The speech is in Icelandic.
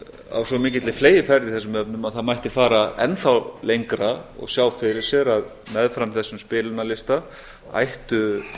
á svo mikilli fleygiferð í þessum efnum að það mætti fara enn þá lengra og sjá fyrir sér að meðfram þessum spilunarlista ættu